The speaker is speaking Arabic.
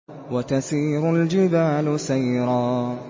وَتَسِيرُ الْجِبَالُ سَيْرًا